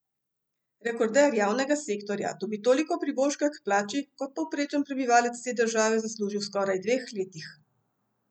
Rekorder javnega sektorja dobi toliko priboljška k plači, kot povprečen prebivalec te države zasluži v skoraj dveh letih!